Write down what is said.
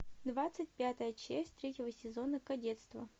двадцать пятая часть третьего сезона кадетство